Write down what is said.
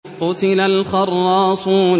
قُتِلَ الْخَرَّاصُونَ